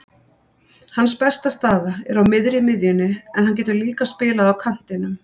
Hans besta staða er á miðri miðjunni en hann getur líka spilað á kantinum.